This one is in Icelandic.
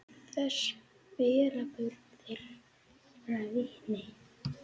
Þess bera börn þeirra vitni.